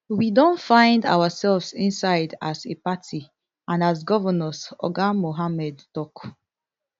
we don find ourselves inside as a party and as governors oga mohammed tok